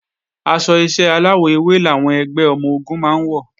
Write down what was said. Aṣọ iṣẹ́ aláwọ̀ ewé làwọn ẹgbẹ́ ọmọ-ogun máa ń wọ̀